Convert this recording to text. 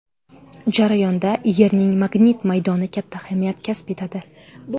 Jarayonda Yerning magnit maydoni katta ahamiyat kasb etadi.